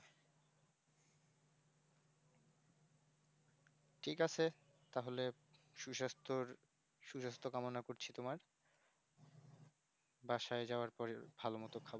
ঠিক আছে তাহলে সুসাস্তর সুস্বাস্থ কামনা করছি তোমার বাসায় যাবার পরে ভালো মতো খাবো